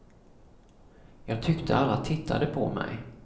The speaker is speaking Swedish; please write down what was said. Jag tyckte alla tittade på mig.